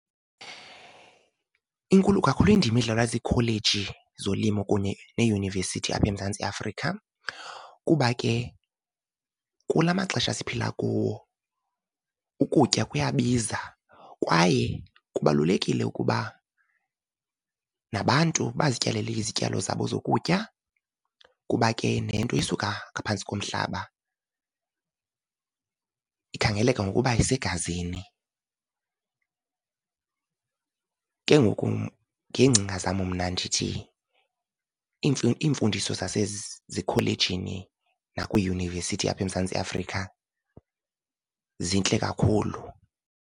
Inkulu kakhulu indima edlalwa ziikholeji zolimo kunye neeyunivesithi apha eMzantsi Afrika, kuba ke kula maxesha siphila kuwo ukutya kuyabiza, kwaye kubalulekile ukuba nabantu bazityalele izityalo zabo zokutya, kuba ke nento esuka ngaphantsi komhlaba ikhangeleka ngokuba isegazini. Ke ngoku ngeengcinga zam mna ndithi iimfundiso zasezikholejini nakwiiyunivesithi apha eMzantsi Afrika zintle kakhulu.